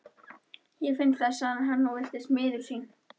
Ég finn það, sagði hann og virtist miður sín.